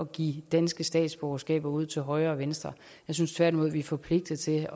give danske statsborgerskaber ud til højre og venstre jeg synes tværtimod vi er forpligtet til